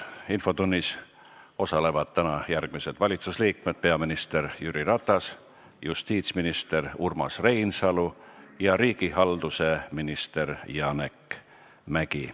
Infotunnis osalevad täna järgmised valitsusliikmed: peaminister Jüri Ratas, justiitsminister Urmas Reinsalu ja riigihalduse minister Janek Mäggi.